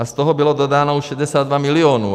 A z toho bylo dodáno už 62 milionů.